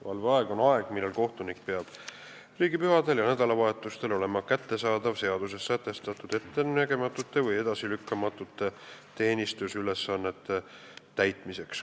Valveaeg on aeg, millal kohtunik peab riigipühadel ja nädalavahetustel olema kättesaadav seaduses sätestatud ettenägematute või edasilükkamatute teenistusülesannete täitmiseks.